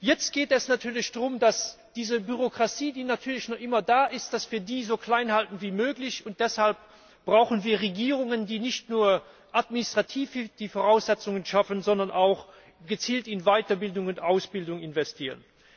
Jetzt geht es natürlich darum, dass wir diese Bürokratie, die natürlich immer noch da ist, so klein halten wie möglich. Deshalb brauchen wir Regierungen, die nicht nur administrativ die Voraussetzungen schaffen, sondern auch gezielt in Weiterbildung und Ausbildung investieren.